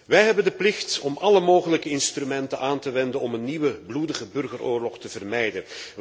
Wij hebben de plicht om alle mogelijke instrumenten aan te wenden om een nieuwe bloedige burgeroorlog te vermijden.